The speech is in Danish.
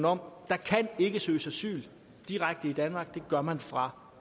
om der kan ikke søges asyl direkte i danmark det gør man fra